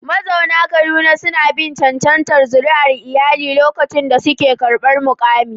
Mazauna Kaduna suna bin cancantar zuri'ar iyali lokacin da suke karɓar mukami.